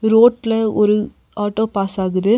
ரோட்ல ஒரு auto pass ஆகுது.